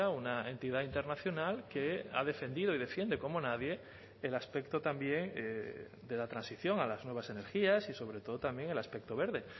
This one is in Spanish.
una entidad internacional que ha defendido y defiende como nadie el aspecto también de la transición a las nuevas energías y sobre todo también el aspecto verde